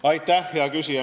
Aitäh, hea küsija!